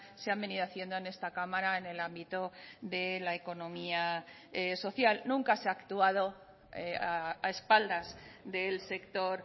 se han venido haciendo en esta cámara en el ámbito de la economía social nunca se ha actuado a espaldas del sector